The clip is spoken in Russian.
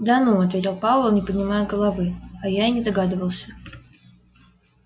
да ну ответил пауэлл не поднимая головы а я и не догадывался